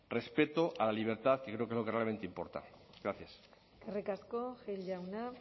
respeto a la libertad que creo que es lo que realmente importa gracias eskerrik asko gil jauna